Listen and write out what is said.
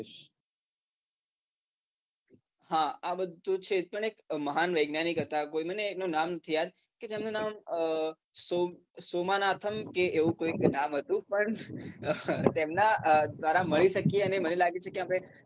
હા આ બધું છે પણ એક મહાન વૈજ્ઞાનિક હતાં કોઈ મને એનું નામ નથી યાદ કે તેમનું નામ સોમ સોમાનાથમ કે એવું કોઈ નામ હતું પણ તેમના દ્વારા મળી શકીએ અને મને લાગે છે કે આપણે